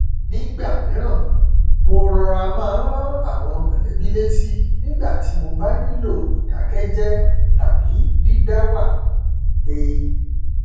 nígbà mìíràn mo rọra máa n rán àwọn mọlẹbí létí nígbà tí mo bá nílò ìdákẹjẹ tàbí dídáwà ní ilé